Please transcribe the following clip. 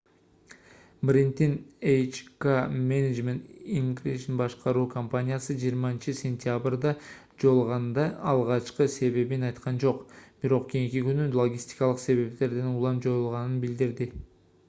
брэнддин hk management inc башкаруу компаниясы 20-сентябрда жоюлганда алгачкы себебин айткан жок бирок кийинки күнү логистикалык себептерден улам жоюлганын билдирди